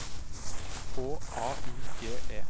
H A U G E